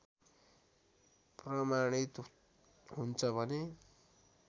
प्रमाणित हुन्छ भने